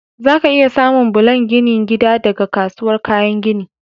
Zaka iya samun bulan ginin gida daga kasuwar kayan gini.